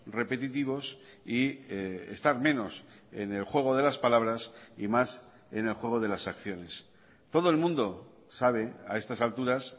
repetitivos y estar menos en el juego de las palabras y más en el juego de las acciones todo el mundo sabe a estas alturas